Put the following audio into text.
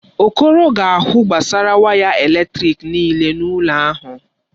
Okoro ga-ahụ gbasara waya eletrịk nịịle n'ụlọ ahụ.